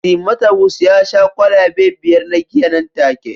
Timothawus ya sha kwalabe biyar na giya nan take